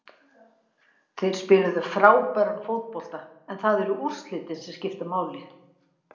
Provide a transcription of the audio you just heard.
Þeir spiluðu frábæran fótbolta en það eru úrslitin sem skipta máli.